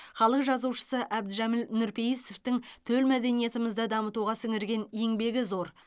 халық жазушысы әбдіжәміл нұрпейісовтің төл мәдениетімізді дамытуға сіңірген еңбегі зор